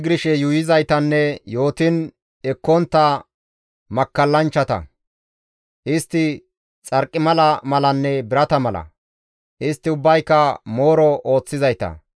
Istti ubbay zigirshe yuuyizaytanne yootiin ekkontta makkallanchchata; istti xarqimala malanne birata mala; istti ubbayka mooro ooththizayta.